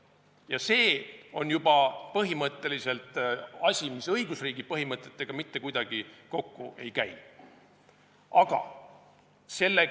Ja see on juba põhimõtteliselt asi, mis õigusriigi põhimõtetega mitte kuidagi kokku ei käi.